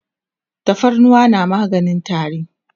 tafarnuwa na maganin tari